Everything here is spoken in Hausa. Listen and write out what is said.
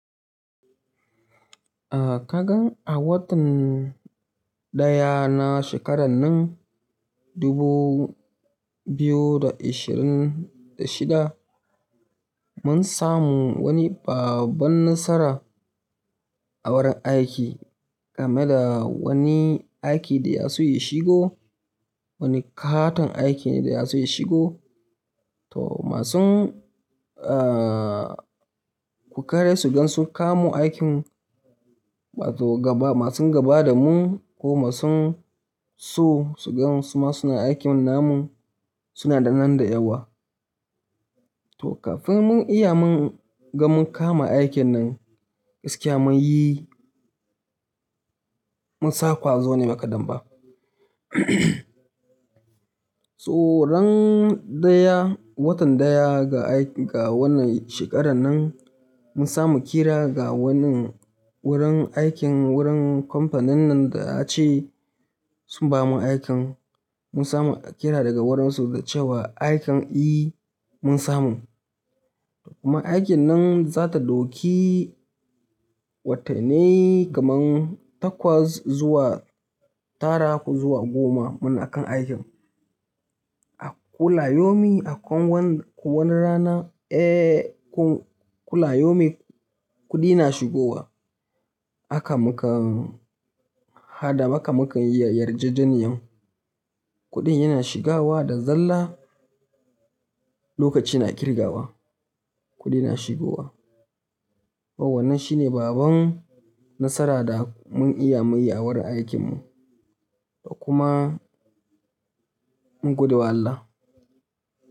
Ah kagan a watan daya na shekaran nan dubu biyu da ashirin da shida, mun samu wani babban nasara a wurin aiki game da wani aiki da ya so yi shigo, wani katon aiki ne da ya su yi shigo. To masun ah kukare su gan sun kawu mun aikin, wato gaba masun gaba da mun ko masun so su gan suma suna aikin namun suna da nan da yawa. To kafin mun iya mun ga mun kama aikin nan gaskiya mun yi, mun sa kwazo ne ba kadamba. So ran daya watan daya ga ga wannan shekaran nan mun samu kira ga wannan wurin aikin wurin company nan da ace sun bamu aikan. Mun samu kira daga wurinsu da cewa aikan e mun samu. Kuma aikin nan za ta doki watannai kaman takwas zuwa tara ko zuwa goma munakan aikin. A kulla yaumin akwai wani rana eh kun kulla yaumin kuɗi na shigowa. Haka muka hada mukayi yarjejeniyan kuɗin yana shigawa da zalla lokaci na kirgawa kuɗi na shigowa. To wannan shine babban nasara da mun iya mun yi a wurin aikin mu. Kuma mun godewa Allah.